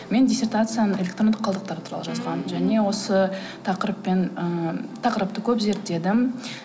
мен диссертацияны электрондық қалдықтар туралы жазғанмын және осы тақырыппен ыыы тақырыпты көп зерттедім